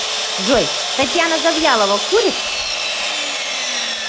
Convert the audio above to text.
джой татьяна завьялова курит